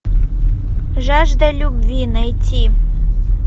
жажда любви найти